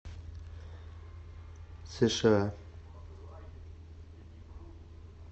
сша